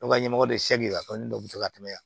Dɔw ka ɲɛmɔgɔ de dɔ bɛ se ka tɛmɛ yan